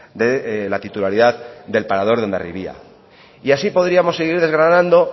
de la titularidad del parador de hondarribia y así podríamos seguir degradando